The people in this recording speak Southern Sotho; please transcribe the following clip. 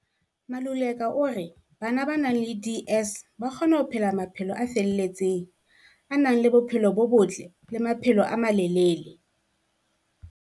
Maluleka o re bana ba nang le DS ba kgona ho phela maphelo a felletseng, a nang le bophelo bo botle le maphelo a malelele.